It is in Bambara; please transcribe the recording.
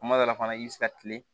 Kuma dɔ la fana i bɛ se ka kile